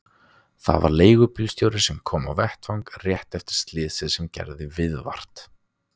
Það var leigubílstjóri sem kom á vettvang rétt eftir slysið sem gerði viðvart.